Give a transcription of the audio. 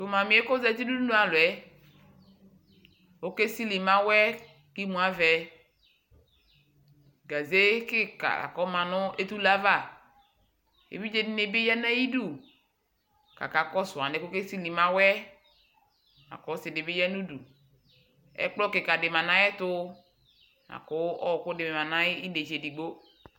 tʊ ɔsivi yɛ kʊ ozati nʊ udunu alɔ yɛ okesili mawɛ, kʊ imu avɛ, awɛ kika yǝ nʊ etule ava, evidze dɩnɩ ya nʊ ayidu kʊ akakɔsʊ alɛnɛ kʊ okesili mawɛ, lakʊ ɔsidɩ bɩ ya nudu, ɛkplɔ be dɩ lɛ nʊ ay'ɛtʊ, kʊ ɔɔkʊ dɩ lɛ nʊ itsɛdɩ